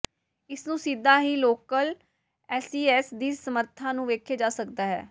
ਇਸ ਨੂੰ ਸਿੱਧਾ ਹੀ ਲੋਕਲ ਐਸਈਐਸ ਦੀ ਸਮਰੱਥਾ ਨੂੰ ਵੇਖੇ ਜਾ ਸਕਦਾ ਹੈ